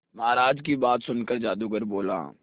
महाराज की बात सुनकर जादूगर बोला